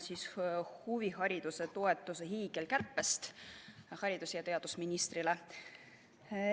See on haridus- ja teadusministrile ning teemaks on huvihariduse toetuse hiigelkärbe.